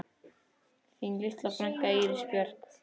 Þín litla frænka, Íris Björk.